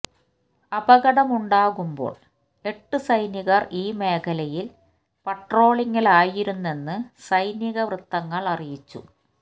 അപകടമുണ്ടാകുമ്പോൾ എട്ട് സൈനികർ ഈ മേഖലയിൽ പട്രോളിംഗിലായിരുന്നെന്ന് സൈനിക വൃത്തങ്ങൾ അറിയിച്ചു